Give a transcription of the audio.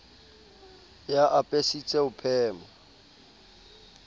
e a apesitse ho phema